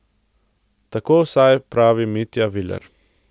Tako vsaj pravi Mitja Viler.